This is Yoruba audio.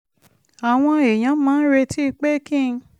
àwọn èèyàn máa ń retí pé kí n